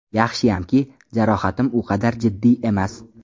Yaxshiyamki, jarohatim u qadar jiddiy emas.